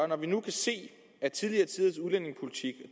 når vi nu kan se at tidligere tiders udlændingepolitik